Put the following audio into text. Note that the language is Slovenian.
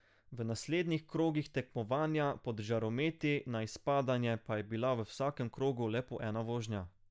V naslednjih krogih tekmovanja pod žarometi na izpadanje pa je bila v vsakem krogu le po ena vožnja.